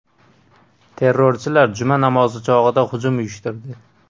Terrorchilar juma namozi chog‘ida hujum uyushtirdi.